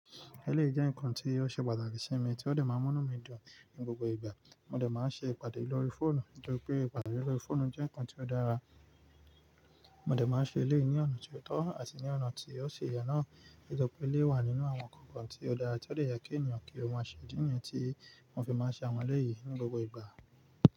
Eleyi jẹ́ nnkan tí ó ṣe pàtàkì sí mi, tí ó de máa ń múnú mi dùn ní gbogbo ìgbà. Mo de máa ń ṣe ìpàdé lórí fóònù nítorí pé ìpàdé lórí fóònù jẹ́ nnkan tí ó dára. Mo de máa ń ṣe eleyi ní ọ̀nà tí ó tọ́ àti ní ọ̀nà tí ó ṣi yen naa, nítorí pé éleyi wà nínú àwọn nnkan tí ó dára tí ó de yen kí ènìyàn kí ó má ṣe. Idí ni ti mo fi maa n se awon eleyi ni gbogbo igba.